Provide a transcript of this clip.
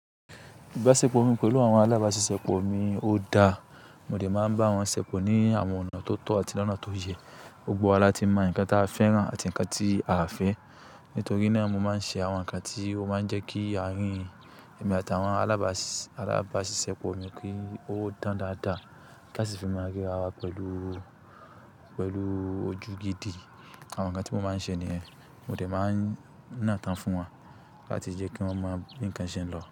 Ibasepo mi pẹ̀lú àwọn alábàáṣiṣẹ́po mi ó dáa. Mo dè máa ń bá wọn ṣèpò ní àwọn ọ̀nà tó tọ́ àti lọ́nà tó yẹ. Gbọ́gbo wa láti mọ ǹnkan ta fẹ́ràn àti ǹnkan tí a à fẹ́. Nítorí náà mo máa ń ṣe àwọn ǹnkan tí ó máa ń jẹ́ kí àárín èmi àtàwọn alábáàṣiṣẹ́, alabaasisepo mi kí ó dán dáadáa. Ka sì fi malẹ́ra wa pẹ̀lú, pẹ̀lú ojú gidi. Àwọn ǹnkan tí mọ́ máa ń ṣe ni yẹn, mo dè máa ń nà tán fún wọn láti jẹ́ kí wọ́n mọ bí ǹnkan ṣe ń lọ.